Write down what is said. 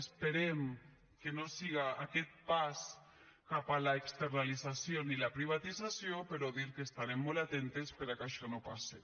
esperem que no siga aquest pas cap a l’externalització ni la privatització però dir que estarem molt atentes per a que això no passe